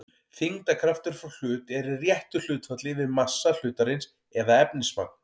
þyngdarkraftur frá hlut er í réttu hlutfalli við massa hlutarins eða efnismagn